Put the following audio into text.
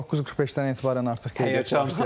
9:45-dən etibarən artıq qeydiyyat başlayacaq.